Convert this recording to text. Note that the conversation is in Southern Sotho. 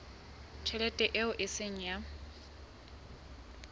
tjhelete eo e seng ya